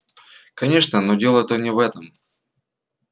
конечно но дело-то не в этом